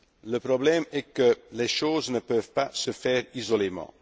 droit. Le problème est que les choses ne peuvent pas se faire isolément.